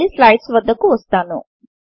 మళ్లీ స్లైడ్స్ వద్దకు వస్తాను